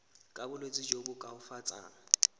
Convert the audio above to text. ka bolwetsi jo bo koafatsang